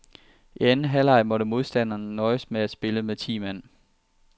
I anden halvleg måtte modstanderne nøjes med at spille med ti mand.